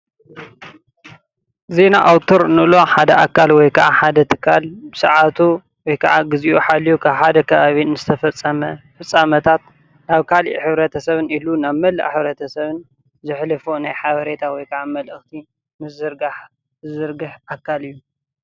ዜና ኣዉተር እንብሎ ሓደ ኣካል ወይ ከዓ ሓደ ትካል ብሰዓቱ ወይ ከዓ ብግዚኡ ሓልዩ ኣብ ሓደ ከባቢ ዝተፈፀመ ፍፃመታት ናብ ካሊእ ሕብርተሰብ እሉ መላእ ሕብርተሰብ ዝሕልፎ ናይ ሓበሬታ መልእክቲ ዝዝርጋሕ ኣካል እዩ፡፡